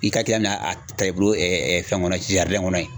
I ka taa i bolo fɛn kɔnɔ kɔnɔ yen.